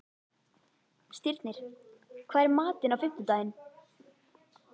Stirnir, hvað er í matinn á fimmtudaginn?